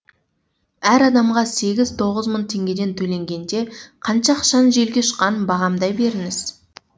әр адамға сегіз тоғыз мың теңгеден төленгенде қанша ақшаның желге ұшқанын бағамдай беріңіз